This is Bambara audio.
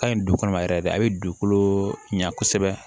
Ka ɲi du kɔnɔ ma yɛrɛ de a bɛ dugukolo ɲa kosɛbɛ